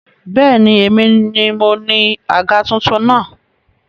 Bẹ́ẹ̀ni, èmi ni moní àga tuntun náà